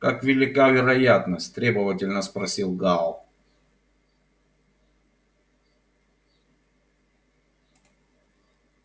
как велика вероятность требовательно спросил гаал